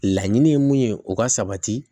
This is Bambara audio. Laɲini ye mun ye o ka sabati